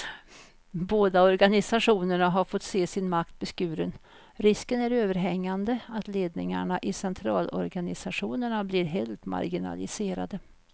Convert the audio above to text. Båda organisationerna har fått se sin makt beskuren, risken är överhängande att ledningarna i centralorganisationerna blir helt marginaliserade.